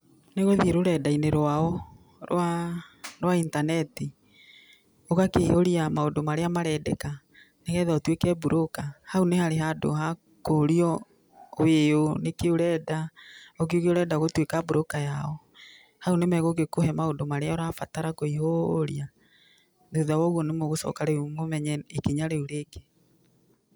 Nĩ gũthiĩ rũrenda-inĩ rwao rwa intaneti, ũgakĩiyũria maũndũ marĩa marendeka nĩgetha ũtuĩke mburũka. Hau nĩ harĩ handũ ha kũrio wĩ ũ, nĩkĩĩ ũrenda, ũkiuge ũrenda gũtuĩka mburũka yao, hau nĩ megũgĩkũhe maũndũ marĩa ũrabatara kũihũria. Thutha wa ũguo nĩ mũgũcoka rĩu mũmenye ikinya rĩu rĩngĩ.